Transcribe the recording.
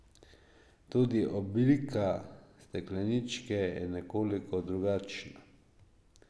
Tudi oblika stekleničke je nekoliko drugačna.